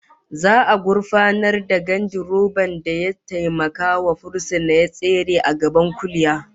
Za'a gurfanar da gandiroban da ya taimakawa fursuna ya tsere a gaban kuliya